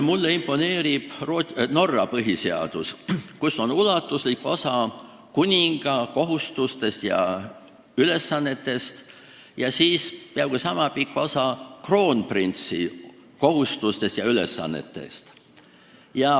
Mulle imponeerib Norra põhiseadus, kus on ulatuslik osa kuninga kohustuste ja ülesannete kohta ning siis peaaegu niisama pikk osa kroonprintsi kohustuste ja ülesannete kohta.